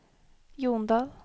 Jondal